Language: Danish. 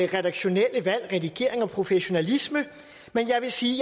redaktionelle valg redigering og professionalisme men jeg vil sige